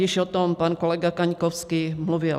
Již o tom pan kolega Kaňkovský mluvil.